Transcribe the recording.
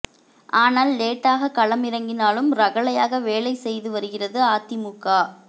ஆனால் லேட்டாக களம் இறங்கினாலும் ரகளையாக வேலை செய்து வருகிறது அதிமுக